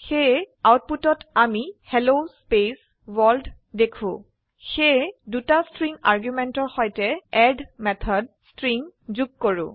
সেয়ে আউটপুটত আমি হেল্ল স্পেস ৱৰ্ল্ড দেখো সেয়ে দুটা স্ট্ৰিং আৰ্গুমেন্টেৰ সৈতে এড মেথড স্ট্ৰিং যোগ কৰে